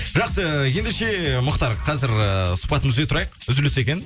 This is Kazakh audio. жақсы ендеше мұхтар қазір ыыы сұхбатымызды үзе тұрайық үзіліс екен